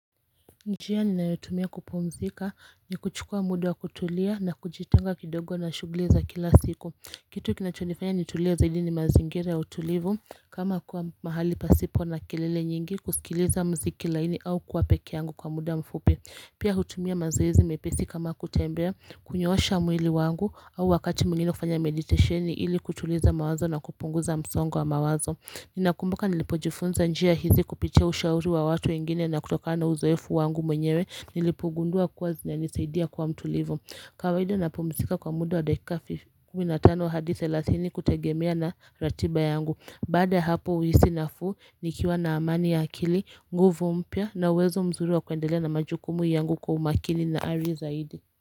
Njia ninayotumia kupumzika ni kuchukua mudawa kutulia na kujitenga kidogo na shughuliza kila siku Kitu kinachonifanya nitulie zaidi ni mazingira ya utulivu kama kuwa mahali pasipo na kelele nyingi kusikiliza muziki laini au kuapekee yangu kwa muda mfupi Pia hutumia mazoezi mepesi kama kutembea kunyosha mwili wangu au wakati mwingine kufanya meditation ili kutuliza mawazo na kupunguza msongowa mawazo Ninakumbuka nilipo jifunza njia hizi kupitia ushauri wa watu wengine na kutokana nauzoefu wangu mwenyewe nilipogundua kuwa zina nisaidia kuwa mtu livu kawaida napumzika kwa muda wa dakika 15 hadithelathini kutegemea na ratiba yangu Baadaya hapo huhisi nafuu nikiwa na amani ya akili, nguvu mpya na uwezo mzuri wa kwendelea na majukumu yangu kwa umakini na ari zaidi.